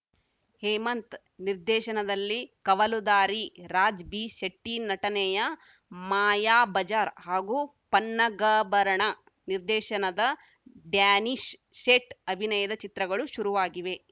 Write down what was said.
ಹೇಮಂತ್‌ ನಿರ್ದೇಶನದಲ್ಲಿ ಕವಲುದಾರಿ ರಾಜ್‌ ಬಿ ಶೆಟ್ಟಿನಟನೆಯ ಮಾಯಾಬಜಾರ್‌ ಹಾಗೂ ಪನ್ನಗಭರಣ ನಿರ್ದೇಶನದ ಡ್ಯಾನೀಶ್‌ ಸೇಠ್‌ ಅಭಿನಯದ ಚಿತ್ರಗಳು ಶುರುವಾಗಿವೆ